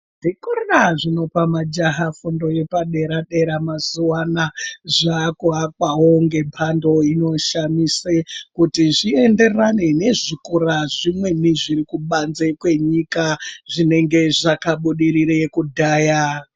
Zvikora zvinopa majaha fundo yepadera-dera mazuva anaya zvakuapawo ngembando inoshamise kuti zvienderane nezvikora zvimweni zviri kubanze kwenyika zvinenge zvakabudirire kudhaya.